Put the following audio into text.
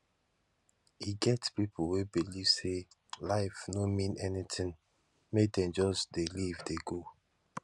e get pipo wey believe sey life no mean anything make dem just dey live dey go